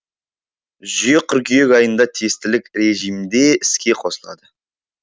жүйе қыркүйек айында тестілік режимде іске қосылады